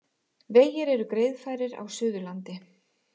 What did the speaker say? Vegir eru greiðfærir á Suðurlandi